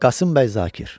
Qasım bəy Zakir.